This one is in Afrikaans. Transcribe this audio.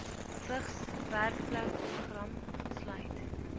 vigs werkplekprogram sluit